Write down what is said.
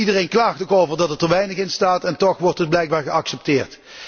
Iedereen klaagt er ook over dat er te weinig in staat, en toch wordt het blijkbaar geaccepteerd.